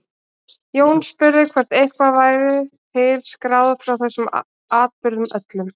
Jón spurði hvort eitthvað væri til skráð frá þessum atburðum öllum.